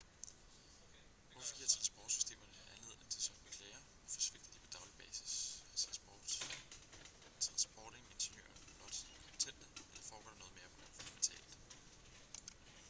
hvorfor giver transportsystemerne anledning til sådanne klager hvorfor svigter de på daglig basis er transportingeniører blot inkompetente eller foregår der noget mere fundamentalt